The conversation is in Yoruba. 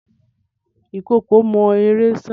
Ìkookò mọ eré sá.